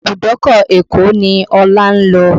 Ibùdókọ̀ Èkó ni Ọlá ń lọ.